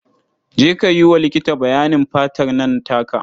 Je ka yi wa likiti bayanin fatar nan taka.